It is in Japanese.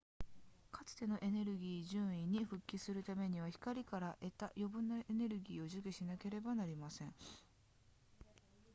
かつてのエネルギー準位に復帰するためには光から得た余分なエネルギーを除去しなければなりません